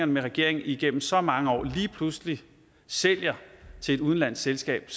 med regeringen igennem så mange år lige pludselig sælger til et udenlandsk selskab